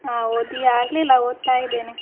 ಹಾ ಓದಿ ಆಗ್ಲಿಲ್ಲ, ಓದ್ತಾ ಇದ್ದೇನೆ.